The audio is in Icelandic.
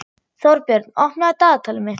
Þórbjörn, opnaðu dagatalið mitt.